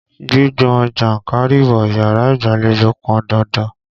Gbígbọn jánkárìwọ̀ yàrá ìgbàlejò pọn dandan.